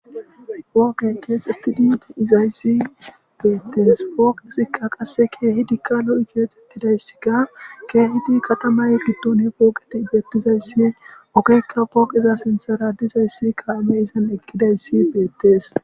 Foqe ketsetidi didays betes. Foqezka qaska kehid lo ketsetdays. Kehid katama gidon foqat betdays, ogeka foqaza sintara dizays kame izan aqdays betes.